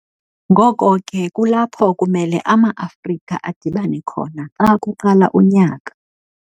ngoko ke kulapho kumele ama Afrika adibane khona xa kuqala unyaka.